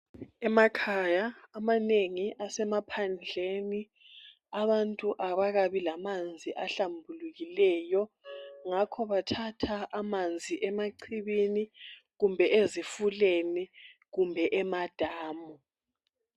Emakhaya amanengi asemaphandleni abantu abakabi lamanzi ahlambulukileyo ngakho bathatha amanzi emachibini kumbe ezifuleni kumbe emadamu.